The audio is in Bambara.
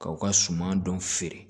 Kaw ka suman dɔn feere